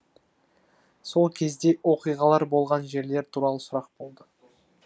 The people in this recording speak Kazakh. сол кезде оқиғалар болған жерлер туралы сұрақ болады